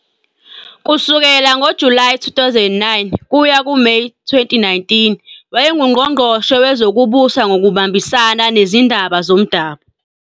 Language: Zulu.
Kusukela ngoJulayi 2009 kuya kuMeyi 2019, wayenguNgqongqoshe Wezokubusa Ngokubambisana Nezindaba Zomdabu.